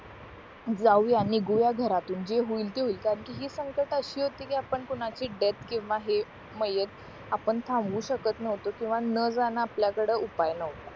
जाऊया निघूया घरातून जे होईल ते होईल कारण कि हि संकट अशी होती कि आपण कोणाची डेथ किंवा हे मयत आपण थांबवू शकत नव्हतो किंवा न जाणं आपल्या कडे उपाय नव्हता